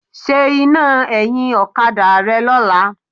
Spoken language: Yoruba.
Ṣe iná ẹ̀yìn ọ̀kadà rẹ lọ́la.